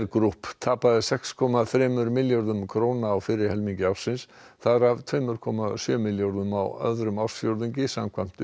Group tapaði sex komma þremur milljörðum króna á fyrri helmingi ársins þar af tveimur komma sjö milljörðum á öðrum ársfjórðungi samkvæmt